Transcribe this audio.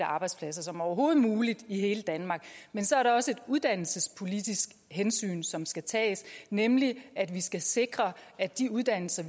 arbejdspladser som overhovedet muligt i hele danmark men så er der også et uddannelsespolitisk hensyn som skal tages nemlig at vi skal sikre at de uddannelser